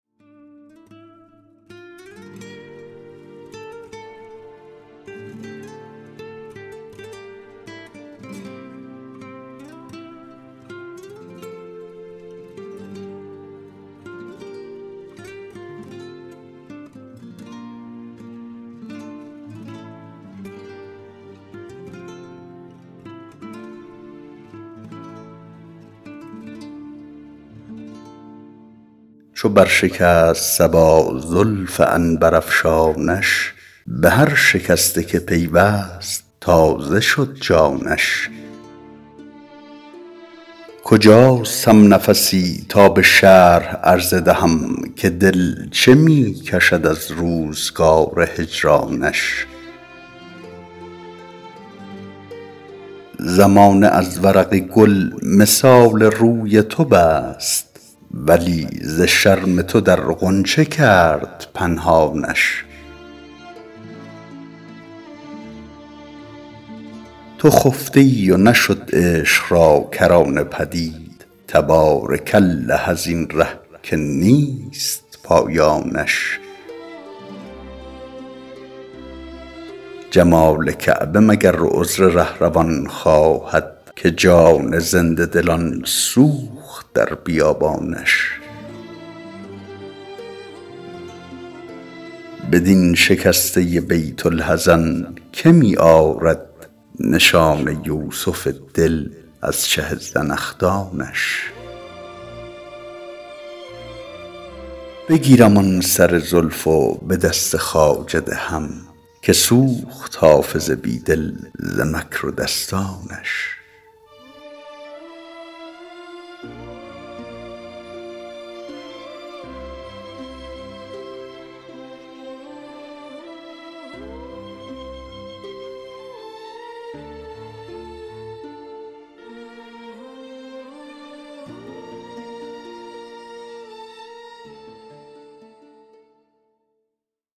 چو بر شکست صبا زلف عنبرافشانش به هر شکسته که پیوست تازه شد جانش کجاست همنفسی تا به شرح عرضه دهم که دل چه می کشد از روزگار هجرانش زمانه از ورق گل مثال روی تو بست ولی ز شرم تو در غنچه کرد پنهانش تو خفته ای و نشد عشق را کرانه پدید تبارک الله از این ره که نیست پایانش جمال کعبه مگر عذر رهروان خواهد که جان زنده دلان سوخت در بیابانش بدین شکسته بیت الحزن که می آرد نشان یوسف دل از چه زنخدانش بگیرم آن سر زلف و به دست خواجه دهم که سوخت حافظ بی دل ز مکر و دستانش